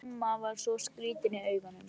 Mamma var svo skrýtin í augunum.